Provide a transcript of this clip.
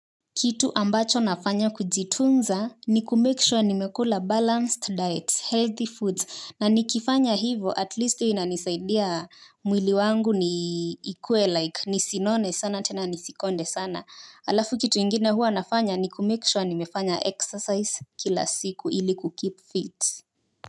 Kitu ambacho nafanya kujitunza ni ku make sure nimekula balanced diet healthy foods na nikifanya hivo at least inanisaidia mwili wangu ni ikue like nisinone sana tena nisikonde sana alafu kitu ingine hua nafanya ni ku make sure nimefanya exercise kila siku ili ku keep fit.